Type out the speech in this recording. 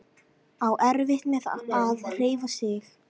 Á erfitt með að hreyfa sig.